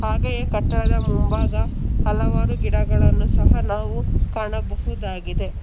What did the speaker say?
ಹಾಗೆಯೇ ಕಟ್ಟಡದ ಮುಂಭಾಗ ಹಲವಾರು ಗಿಡಗಳನ್ನು ಸಹಾ ನಾವು ಕಾಣಬಹುದಾಗಿದೆ.